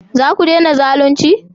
Za ku dena zalunci?